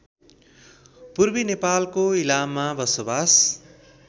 पूर्वी नेपालको इलाममा बसोवास